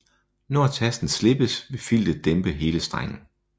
Når tasten slippes vil filtet dæmpe hele strengen